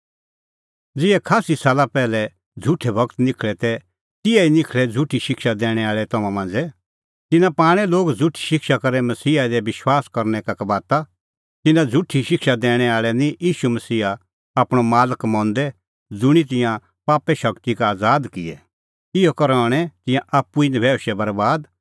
ज़िहै खास्सी साला पैहलै झ़ुठै गूर निखल़ै तै तिहै ई निखल़णैं झ़ुठी शिक्षा दैणैं आल़ै तम्हां मांझ़ै तिन्नां पाणै लोग झ़ुठी शिक्षा करै मसीहा दी विश्वास करनै का कबाता तिन्नां झ़ुठी शिक्षा दैणैं आल़ै निं ईशू मसीहा आपणअ मालक मंदै ज़ुंणी तिंयां पापे शगती का आज़ाद किऐ इहअ करै हणैं तिंयां आप्पू ई नभैऊशै बरैबाद